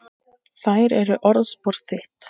Þær eru orðspor þitt.